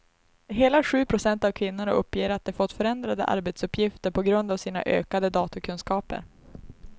Hela sju procent av kvinnorna uppger att de fått förändrade arbetsuppgifter på grund av sina ökade datorkunskaper.